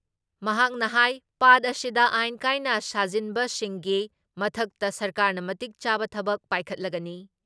ꯃꯍꯥꯛꯅ ꯍꯥꯏ ꯄꯥꯠ ꯑꯁꯤꯗ ꯑꯥꯏꯟ ꯀꯥꯏꯅ ꯁꯥꯖꯤꯟꯕꯁꯤꯡꯒꯤ ꯃꯊꯛꯇ ꯁꯔꯀꯥꯔꯅ ꯃꯇꯤꯛ ꯆꯥꯕ ꯊꯕꯛ ꯄꯥꯏꯈꯠꯂꯒꯅꯤ ꯫